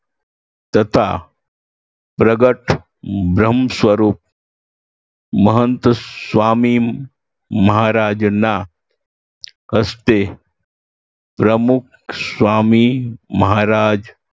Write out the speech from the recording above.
તથા પ્રગટ બ્રહ્મ સ્વરૂપ મહંત સ્વામી મહારાજના હસ્તે પ્રમુખ સ્વામી મહારાજ